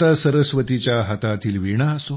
माता सरस्वतीच्या हातातीतल वीणा असो